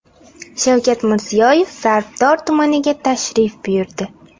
Shavkat Mirziyoyev Zarbdor tumaniga tashrif buyurdi.